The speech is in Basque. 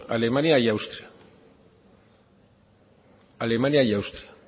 alemania y austria alemania y austria